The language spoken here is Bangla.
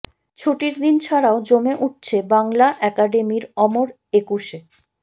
ছুটির দিন ছাড়াও জমে উঠছে বাংলা একাডেমীর অমর একুশে